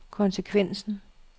konsekvensen